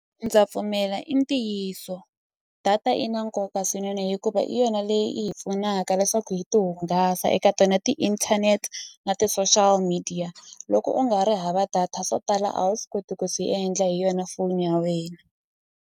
Ndza pfumela i ntiyiso data i na nkoka swinene hikuva i yona leyi i hi pfunaka leswaku hi ti hungasa eka tona ti-internet na ti-social media loko u nga ri hava data swo tala a wu swi koti ku swi endla hi yona phone ya wena.